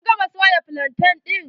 Kin gama soya flantain ɗin?